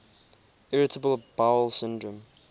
irritable bowel syndrome